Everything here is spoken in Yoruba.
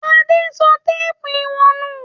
Adé sọ téépù ìwọ̀n nù?